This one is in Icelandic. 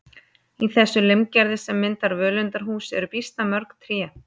Í þessu limgerði sem myndar völundarhús eru býsna mörg tré.